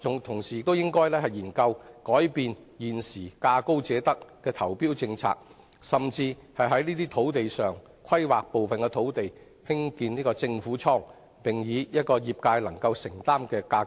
同時，政府應研究改變現時價高者得的投標政策，甚至規劃部分土地興建政府倉庫，以可負擔的租金水平出租予業界。